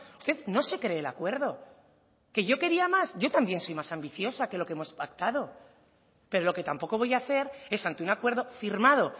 usted no se cree el acuerdo que yo quería más yo también soy más ambiciosa que lo que hemos pactado pero lo que tampoco voy a hacer es ante un acuerdo firmado